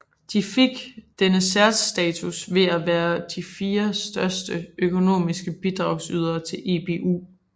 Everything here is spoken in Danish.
De fik denne særstatus ved at være de fire største økonomiske bidragydere til EBU